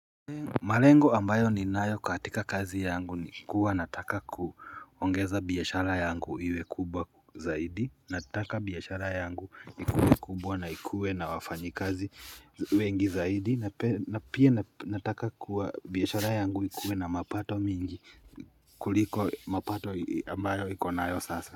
Malengo ambayo ninayo katika kazi yangu ni kuwa nataka kuongeza biashara yangu iwe kubwa zaidi Nataka biashara yangu ikuwe kubwa na ikue na wafanyikazi wengi zaidi na pia nataka kuwa biashara yangu ikuwe na mapato mingi kuliko mapato ambayo ikonayo sasa.